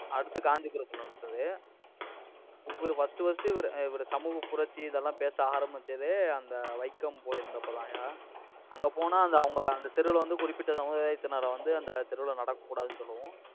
அடுத்து, காஞ்சிபுரத்துல நடந்தது. இவரு first first இவரு, இவரு, சமூக புரட்சி, இதெல்லாம் பேச ஆரம்பிச்சதே, அந்த வைக்கம் போயிருந்தப்பதான்யா. அங்க போனா, அந்த அவங்க அந்த தெருவுல வந்து குறிப்பிட்ட சமுதாயத்தினரை வந்து அந்த தெருவுல நடக்கக்கூடாதுனு சொல்லவும்